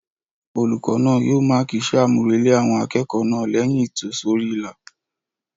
Olùkọ́ náà yóò máàkì iṣẹ́-àmúrelé àwọn akẹ́kọ̀ọ́ náà lẹ́yìn ìtòsórí-ìlà